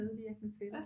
Medvirkende til det